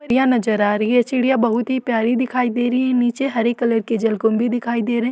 ड़ियाँ नज़र आ रही है चिड़ियाँ बहुत ही प्यारी दिखाई दे रही है नीचे हरे कलर की जलकुम्भी दिखाई दे रहे --